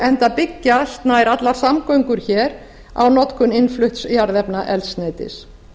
enda byggja nær allar samgöngur hér á notkun innflutts jarðefnaeldsneytis